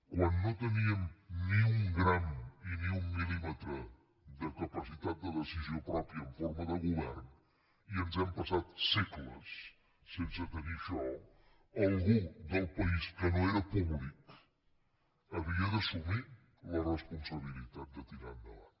quan no teníem ni un gram i ni un mil·límetre de capacitat de decisió pròpia en forma de govern i ens hem passat segles sense tenir això algú del país que no era públic havia d’assumir la responsabilitat de tirar endavant